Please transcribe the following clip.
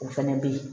O fɛnɛ bɛ ye